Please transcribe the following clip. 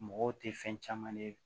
Mɔgɔw tɛ fɛn caman ye